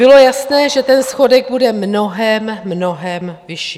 Bylo jasné, že ten schodek bude mnohem, mnohem vyšší.